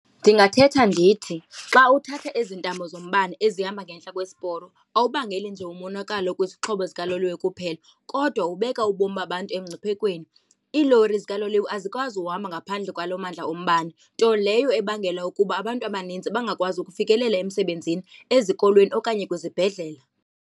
Ndingathetha ndithi, xa uthathe ezi ntambo zombane ezihamba ngentla kwesiporo awuphangeli nje umonakalo kwizixhobo zikaloliwe kuphela kodwa ubeka ubomi babantu emngciphekweni. Iilori zikaloliwe azikwazi uhamba ngaphandle kwaloo mandla ombane, nto leyo ebangela ukuba abantu abanintsi bangakwazi ukufikelela emisebenzini, ezikolweni okanye kwizibhedlela.